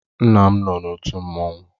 Nna m nọ n'òtù mmanwụ.